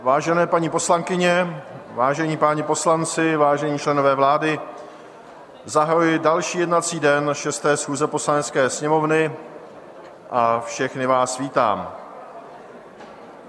Vážené paní poslankyně, vážení páni poslanci, vážení členové vlády, zahajuji další jednací den 6. schůze Poslanecké sněmovny a všechny vás vítám.